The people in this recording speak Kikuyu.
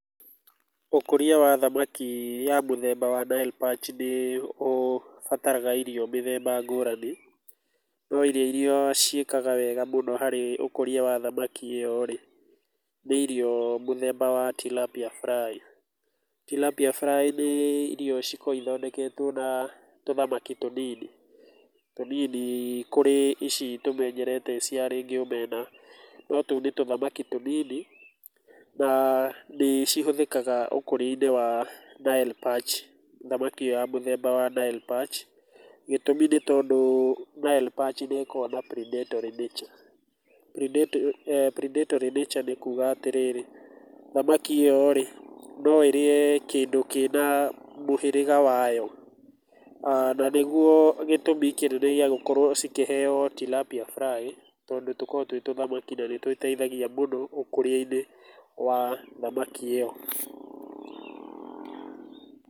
Ũkũria wa thamaki mũthemba wa Nile perch nĩ ũbataraga irio mĩthemba ngũrani, no irio iria ciĩkaga wega mũno harĩ ũkũria wa thamaki ũyũ nĩ irio mũthemba wa Tilapia Fly, Tilapia Fly nĩ irio cikoragwo ithondeketwo na tũthamaki tũnini, tũnini kũrĩ ici tũmenyerete ta rĩngĩ omena, no tũu nĩ tũthamaki tũnini na nĩ cihũthĩkaga ũkũria-inĩ wa Nile perch, thamaki ĩyo mũthemba wa Nile perch, gĩtũmi nĩ ũndũ Nile perch nĩkoragwo na predatory nature, predatory nature, nĩ kuga atĩrĩrĩ thamaki ĩyo rĩ no ĩrĩe kĩndũ kĩna mũhĩgĩra wayo, na nĩguo gĩtũmi kĩnene gĩa gũkorwo ikĩheo Tilapia Fly tondũ nĩ tũkoragwo twĩ tũthamaki na nĩ tũteithagia mũno ũkũria-inĩ wa thamaki ĩyo.